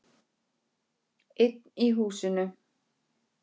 Það sýður á honum.